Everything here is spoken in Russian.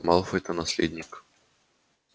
малфой-то наследник